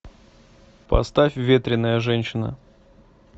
поставь ветреная женщина